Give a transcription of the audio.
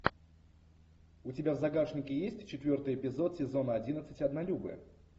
у тебя в загашнике есть четвертый эпизод сезона одиннадцать однолюбы